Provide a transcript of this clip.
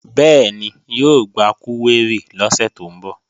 Bẹ́ẹ̀ni, yóò gba kúwérì lọ́sẹ̀ tó ń bọ̀